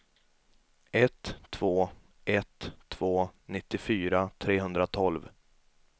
ett två ett två nittiofyra trehundratolv